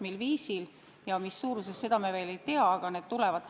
Mil viisil ja mis suuruses, seda me veel ei tea, aga need tulevad.